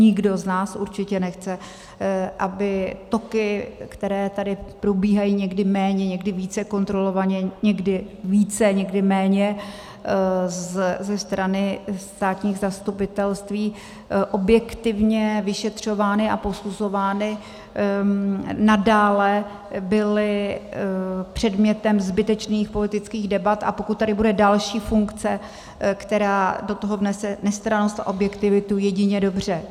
Nikdo z nás určitě nechce, aby toky, které tady probíhají někdy méně, někdy více kontrolovaně, někdy více, někdy méně ze strany státních zastupitelství objektivně vyšetřovány a posuzovány, nadále byly předmětem zbytečných politických debat, a pokud tady bude další funkce, která do toho vnese nestrannost a objektivitu, jedině dobře.